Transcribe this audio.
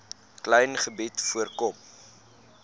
klein gebied voorkom